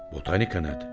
Botanika nədir?